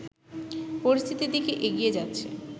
পরিস্থিতির দিকে এগিয়ে যাচ্ছে